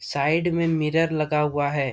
Side में mirror लगा हुआ है।